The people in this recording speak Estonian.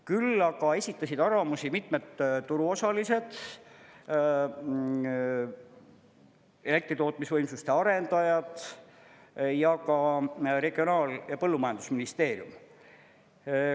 Küll aga esitasid arvamusi mitmed turuosalised, elektritootmisvõimsuste arendajad ja ka Regionaal- ja Põllumajandusministeerium.